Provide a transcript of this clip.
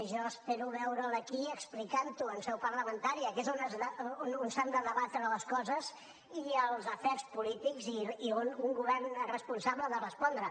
jo espero veure’l aquí explicant ho en seu parlamentària que és on s’han de debatre les coses i els afers polítics i on un govern responsable ha de respondre